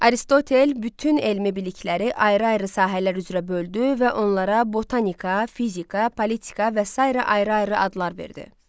Aristotel bütün elmi bilikləri ayrı-ayrı sahələr üzrə böldü və onlara botanika, fizika, politika və sairə ayrı-ayrı adlar verdi.